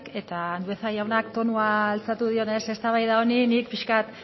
eta andueza jaunak tonua altxatu dionez eztabaida honi ni pixka bat